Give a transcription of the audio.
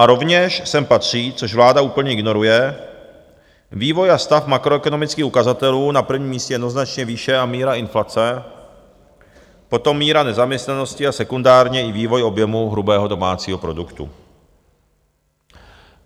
A rovněž sem patří, což vláda úplně ignoruje, vývoj a stav makroekonomických ukazatelů, na prvním místě jednoznačně výše a míra inflace, potom míra nezaměstnanosti a sekundárně i vývoj objemu hrubého domácího produktu.